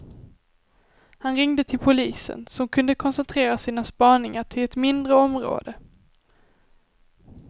Han ringde till polisen, som kunde koncentrera sina spaningar till ett mindre område.